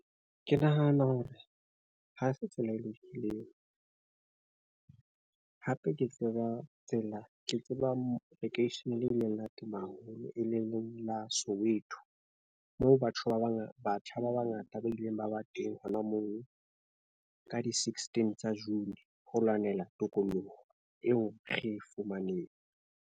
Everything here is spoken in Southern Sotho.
Ke nahana hore ha se tsela e lokileng, hape ke tseba tsela, ke tseba lekeisheneng le ileng la tuma haholo e leng la Soweto. Moo batho ba bangata, batjha ba bangata ba ileng ba ba teng hona moo ka di sixteen tsa June. Ho lwanela tokoloho eo re e fumaneng.